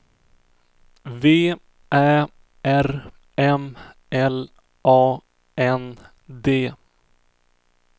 V Ä R M L A N D